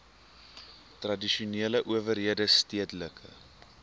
tradisionele owerhede stedelike